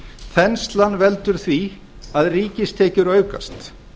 þenslan veldur því að ríkistekjur aukast